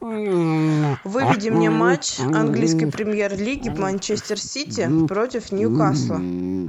выведи мне матч английской премьер лиги манчестер сити против ньюкасла